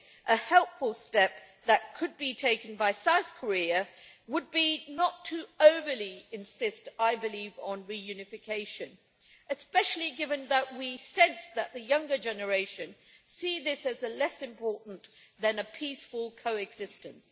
a helpful step that could be taken by South Korea would be not to overly insist I believe on reunification, especially given that we sense that the younger generation sees this as less important than peaceful coexistence.